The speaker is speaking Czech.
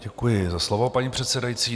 Děkuji za slovo, paní předsedající.